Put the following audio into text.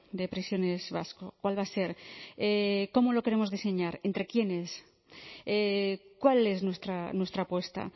de prisiones vasco cuál va a ser cómo lo queremos diseñar entre quienes cuál es nuestra apuesta